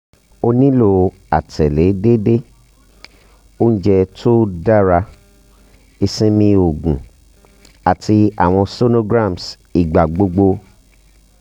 a nilo atẹle deede ounjẹ to um dara isinmi oogun ati awọn sonograms igbagbogbo